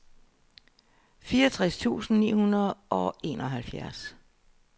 fireogtres tusind ni hundrede og enoghalvfjerds